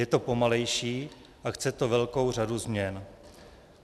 Je to pomalejší a chce to velkou řadu změn.